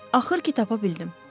Axır ki tapa bildim.